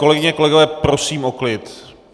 Kolegyně, kolegové, prosím o klid!